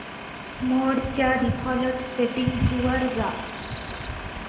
मोड च्या default settings वर जा